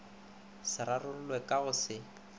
se rarollwe ka go se